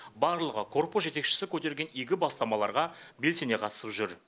барлығы корпус жетекшісі көтерген игі бастамаларға белсене қатысып жүр